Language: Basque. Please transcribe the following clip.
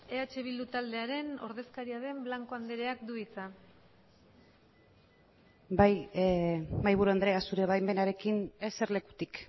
eh bildu taldearen ordezkaria den blanco andreak du hitza bai mahaiburu andrea zure baimenarekin eserlekutik